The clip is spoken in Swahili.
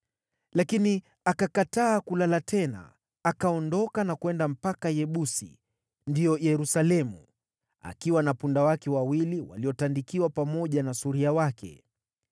Lakini akakataa kulala tena, akaondoka na kwenda mpaka Yebusi (ndio Yerusalemu), akiwa na punda wake wawili waliotandikiwa, pamoja na suria wake.